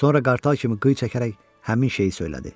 Sonra qartal kimi qıy çəkərək həmin şeyi söylədi.